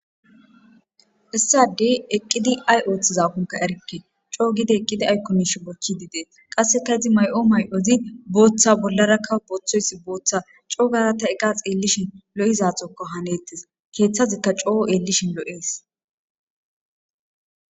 issadey eqqidi ay ooththiza kunka erkke coo gide eqqidi aykomish bochchi didees qasseka izi may7o may7ozi booththa bollarakka booththoysi booththa coogara ta eqax eellishin lo7izaxokko haneettes keeththazikka coo eellishin lo7ees